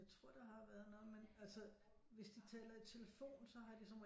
Jeg tror der har været noget med altså hvis de taler i telefon s¨å har de som regel